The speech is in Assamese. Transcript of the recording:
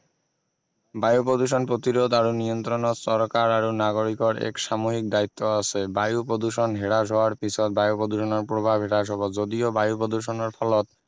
বায়ু প্ৰদূষণ প্ৰতিৰোধ আৰু নিয়ন্ত্ৰণত চৰকাৰ আৰু নাগৰিকৰ এক সামূহিক দায়িত্ব আছে বায়ু প্ৰদূষণ হ্ৰাস হোৱাৰ পিছত বায়ু প্ৰদূষণৰ প্ৰভাৱ হ্ৰাস হব যদিও বায়ু প্ৰদূষণৰ ফলত